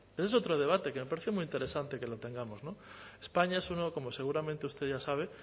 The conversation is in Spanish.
ese es otro debate que me parece muy interesante que lo tengamos españa es uno como seguramente usted ya sabe